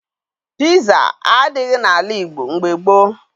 Piza adịghị n'ala Igbo mgbe gboo